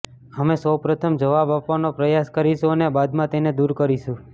અમે સૌપ્રથમ જવાબ આપવાનો પ્રયાસ કરીશું અને બાદમાં તેને દૂર કરીશું